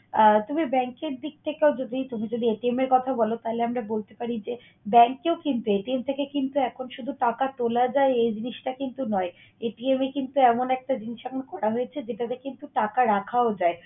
আহ তুমি bank এর দিক থেকেও যদি তুমি যদি এর কথা বল তাইলে আমরা বলতে পারি যে bank এও কিন্তু থেকে কিন্তু এখন শুধু টাকা তোলা যায় এই জিনিসটা কিন্তু নয়, এ কিন্তু এমন একটা জিনিস এখন বার করা হয়েছে যেটাতে কিন্তু টাকা রাখাও যায়